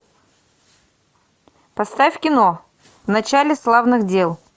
поставь кино в начале славных дел